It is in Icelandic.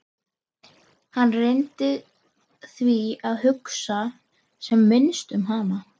Hann reyndi því að hugsa sem minnst um hana.